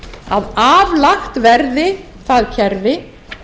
að aflagt verði það kerfi